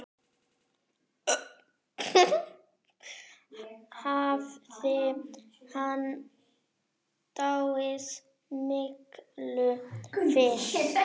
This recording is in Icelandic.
Hafði hann dáið miklu fyrr?